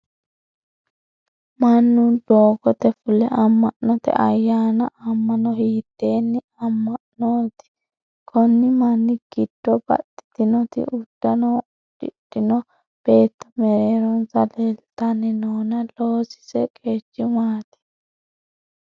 Mannu dogoote fule ama'note ayaanna afamano hiitenne ama'nooti? Konni manni gido baxitino udano udidhino beetto mereeronsa leeltanni noonna loosise qeeci maati?